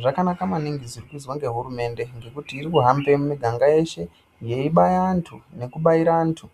Zvakanaka maningi zviri kuyizwa ngehurumende, ngekuti iri kuhambe mumiganga yeshe yeibaya antu ,nekubayira antu